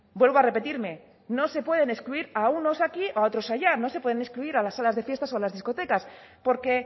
vuelvo a repetirme no se pueden excluir a unos aquí o a otros allá no se pueden excluir a las salas de fiestas o a las discotecas porque